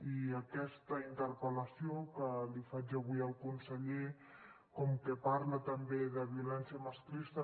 i aquesta interpel·lació que li faig avui al conseller com que parla també de violència masclista